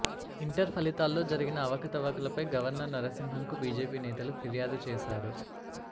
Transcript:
inter ఫలితాల్లో జరిగిన అవకతవకలపై గవర్నర్ నరసింహన్ కు బీజేపీ నేతలు ఫిర్యాదు చేశారు